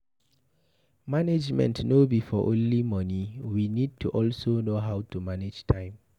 Management no be for only money, we need to also know how to manage time